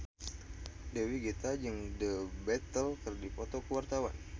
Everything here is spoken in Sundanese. Dewi Gita jeung The Beatles keur dipoto ku wartawan